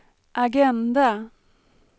agenda